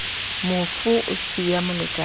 mofu a sa siya molekane